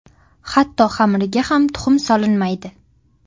hatto xamiriga ham tuxum solinmaydi.